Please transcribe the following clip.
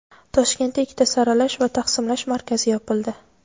Toshkentda ikkita saralash va taqsimlash markazi yopildi.